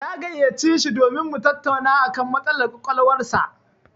Na gayyaci shi domin mu tattauna a kan matsalar ƙwaƙwalwar sa.